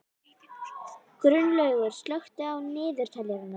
Gunnlaugur, slökktu á niðurteljaranum.